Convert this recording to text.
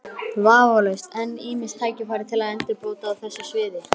Vafalaust eru enn ýmis tækifæri til endurbóta á þessu sviði.